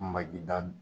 Magi da